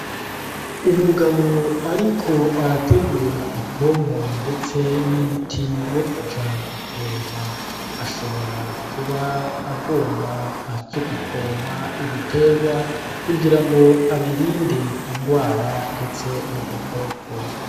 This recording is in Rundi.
Umugabo ariko arategura ipompo ndetse n’umuti wo kuja gupompa, ashobora kuba agomba aje gupompa ibiterwa kugira ngo abirinde indwara ndetse n’udukoko.